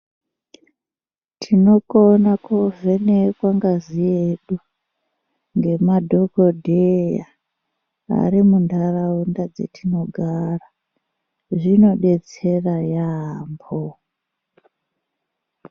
Tinokona koovhenekwa ngazi yedu, ngemadhokodhaya ari munharaunda dzetinogara zvinodetsera yeyamho.